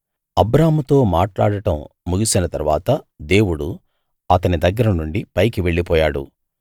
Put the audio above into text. అబ్రాహాముతో మాట్లాడటం ముగిసిన తరువాత దేవుడు అతని దగ్గరనుండి పైకి వెళ్ళిపోయాడు